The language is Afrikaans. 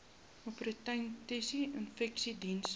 opportunistiese infeksies diens